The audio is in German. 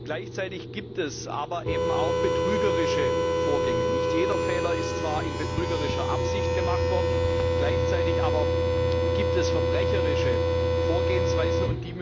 Gleichzeitig gibt es aber eben auch betrügerische Vorgänge. Zwar ist nicht jeder Fehler in betrügerischer Absicht gemacht worden, gleichzeitig aber gibt es verbrecherische Vorgehensweisen.